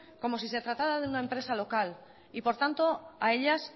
como si se tratara de una empresa local y por tanto a ellas